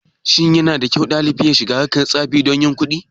Shin yanada kyau ɗalibi ya shiga harkar tsafi don yin kuɗin.